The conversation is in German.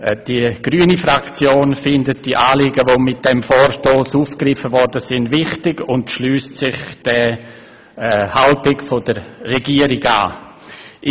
Die grüne Fraktion findet die Anliegen dieses Vorstosses wichtig und schliesst sich der Haltung der Regierung an.